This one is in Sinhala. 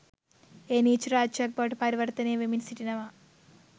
එය නීච රාජ්‍යයක් බවට පරිවර්තනය වෙමින් සිටිනවා